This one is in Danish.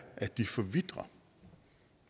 at de forvitrer